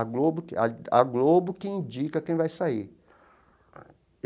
A Globo que a a Globo que indica quem vai sair.